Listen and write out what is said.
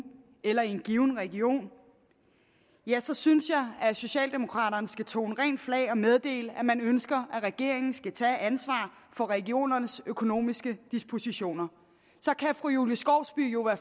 eller i en given region ja så synes jeg socialdemokraterne skal tone rent flag og meddele at man ønsker at regeringen skal tage ansvaret for regionernes økonomiske dispositioner så kan fru julie skovsby jo